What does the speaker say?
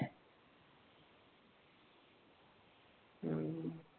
हम्म